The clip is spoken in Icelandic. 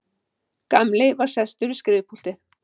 Gamli var sestur við skrifpúltið.